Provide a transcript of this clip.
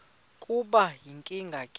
kube yinkinge ke